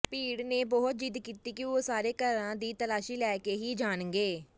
ਭੀੜ ਨੇ ਬਹੁਤ ਜ਼ਿਦ ਕੀਤੀ ਕਿ ਉਹ ਸਾਰੇ ਘਰਾਂ ਦੀ ਤਲਾਸ਼ੀ ਲੈ ਕੇ ਹੀ ਜਾਣਗੇ